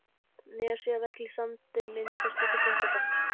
Nesjavelli, og Sandey myndaðist úti í Þingvallavatni.